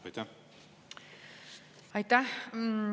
Aitäh!